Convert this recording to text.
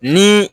Ni